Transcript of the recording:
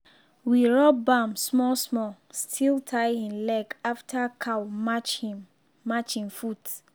we rub balm small small still tie hin leg after cow match him match him foot.